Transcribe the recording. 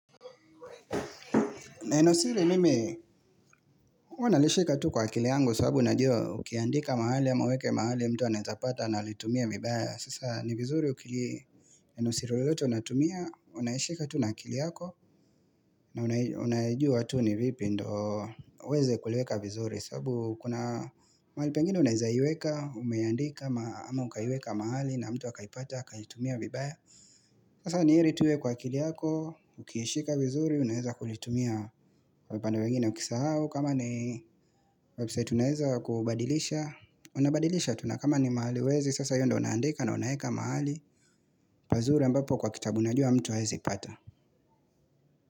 Neno siri mimi, huwa nalishika tu kwa akili yangu kwa sababu najua ukiandika mahali ama uweke mahali mtu anawezapata anaitumia vibaya. Sasa ni vizuri ukili nenosiri lotote unatumia, unaishika tu na akili yako na unajua tu ni vipi ndo uweze kuleweka vizuri sababu kuna mahali pengine unawezaiweka, umeandika ama ukaiandika mahali na mtu akaipata, akaitumia vibaya. Sasa ni heri tu iwe kwa kili yako, ukiishika vizuri, unaeza kulitumia kwa upanda mwingine ukisahau kama ni website unaeza kubadilisha Unabadilisha tu na kama ni mahali huwezi, sasa hiyo ndo unaandika na unaeka mahali pazuri ambapo kwa kitabu unajua mtu haezi pata.